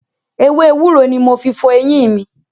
Ewé ewúro ni mo fi fọ eyín mi.